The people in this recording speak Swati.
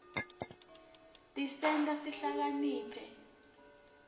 tisenta sihlakanipite